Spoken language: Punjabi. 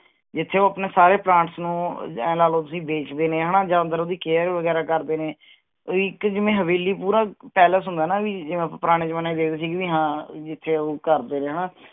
ਜਿਥੇ ਉਹ ਆਪਣੇ ਸਾਰੇ plants ਨੂੰ ਆਹ ਆਏਂ ਲਾ ਲੋ ਤੁਸੀਂ ਬੇਚਦੇ ਨੇ ਹਣਾ ਜਾ ਅੰਦਰ ਓਹਦੀ care ਵਗੈਰਾ ਕਰਦੇ ਨੇ ਵੀ ਇਕ ਜਿਵੇਂ ਹਵੇਲੀ ਪੂਰਾ palace ਹੁੰਦਾ ਨਾ ਵੀ ਜਿਵੇ ਆਪਾਂ ਪੁਰਾਣੇ ਜਮਾਨੇ ਚ ਵੇਖਦੇ ਸੀ ਜਿਵੇਂ ਹਾਂ ਜਿਥੇ ਉਹ ਕਰਦੇ ਨੇ ਹਣਾ